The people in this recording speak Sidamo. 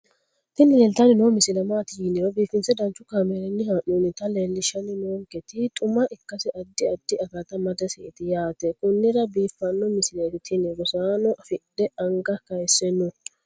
tini leeltanni noo misile maaati yiniro biifinse danchu kaamerinni haa'noonnita leellishshanni nonketi xuma ikkase addi addi akata amadaseeti yaate konnira biiffanno misileeti tini rosaano fiidhe anga kayise no